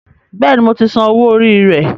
Bẹ́ẹ̀ni, mo ti san owó orí rẹ